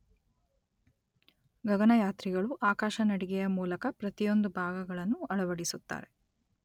ಗಗನಯಾತ್ರಿಗಳು ಆಕಾಶ ನಡಿಗೆಯ ಮೂಲಕ ಪ್ರತಿಯೊಂದು ಭಾಗಗಳನ್ನು ಅಳವಡಿಸುತ್ತಾರೆ.